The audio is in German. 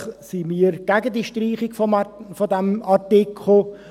Selbstverständlich sind wir gegen die Streichung dieses Artikels.